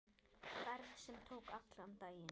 Ferð sem tók allan daginn.